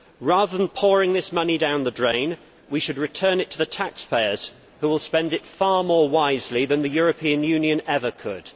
Rather than pouring this money down the drain, we should return it to the taxpayers, who will spend it far more wisely than the European Union ever could.